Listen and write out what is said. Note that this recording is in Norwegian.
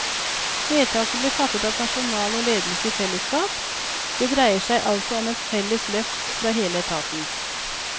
Vedtaket ble fattet av personal og ledelse i fellesskap, det dreier seg altså om et felles løft fra hele etaten.